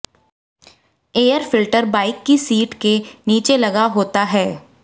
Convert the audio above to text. air filter bike की seat के नीचे लगा होता है